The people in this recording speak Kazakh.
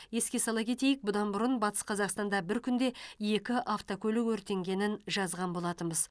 еске сала кетейік бұдан бұрын батыс қазақстанда бір күнде екі автокөлік өртенгенін жазған болатынбыз